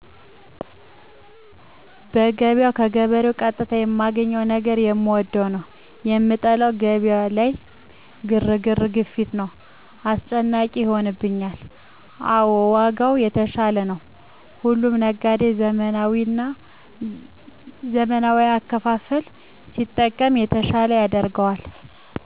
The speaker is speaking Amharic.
በገበያው ከገበሬ ቀጥታ የማገኘው ነገር የምወደው ነው። የምጠላው ገበያው ላይ ግርግር፤ ግፊት ነው። አስጨናቂ ይሆንብኛል። አዎ ዋጋው የተሻለ ነው። ሁሉም ነጋዴ ዘመናዊ አከፋፈል ቢጠቀም የተሻለ ያደርገዋል።